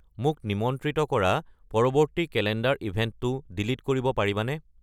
মোক নিমন্ত্ৰিত কৰা পৰৱৰ্তী কেলেণ্ডাৰ ইভেণ্টটো ডিলিট কৰিব পাৰিবানে